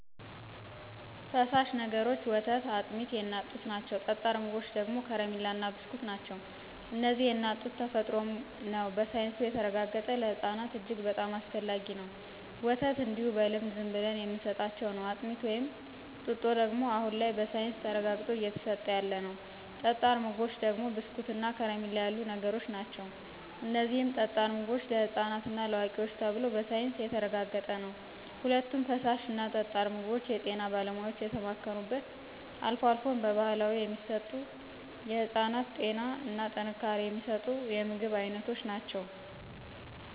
ፈሳሽ ነገሮች ወተት አጥሚት የእናት ጡት ናቸው ጠጣር ምግቦች ደግሞ ከረማላ እና ብስኩት ናቸው እነዚህም የእናት ጡት ተፈጥሮም ነው በሳይንሱም የተረጋገጠ ለህፅናት እጅግ በጣም አስፈላጊ ነው፣ ወተት እንዲሁ በልምድ ዝምብለን የምንስጣቸው ነው፣ አጥሚት ወይም ጡጦ ደግሞ አሁን ላይ በሳይንስ ተረጋግጦ እየተስጠ ያለ ነው። ጠጣር ምግቦች ደግሞ ብስኩት እንደ ከረሚላ ያሉ ነገሮች ናቸው እነዚህም ጠጣር ምግቦች ለህፃናት እና ለአዋቂዎች ተብሎ በሳይንስ የተረጋገጠ ነው። ሁለቶችም ፍሳሾች እና ጠጣር ምግቦች የጤና ባለሙያዎች የተማከሩበት አልፎ አልፎ በባህላዊ የሚሰጡ የህፅናትን ጤና እና ጥንካሬ የሚስጡ የምግብ አይነቶች ናቸው።